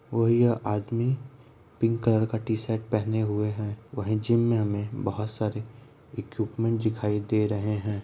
और ये आदमी पिंक कलर का टी शर्ट पहने हुए है वही जीम मे हमे बहुत सरे इक्विपमेंट दिखाई दे रहे है।